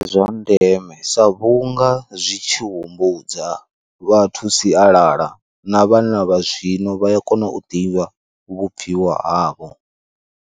Ndi zwa ndeme sa vhunga zwi tshi humbudza vhathu sialala na vhana vha zwino vha ya kona u ḓivha vhubviwa havho.